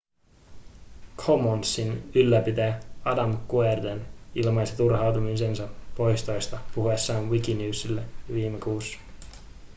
commonsin ylläpitäjä adam cuerden ilmaisi turhautumisensa poistoista puhuessaan wikinewsille viime kuussa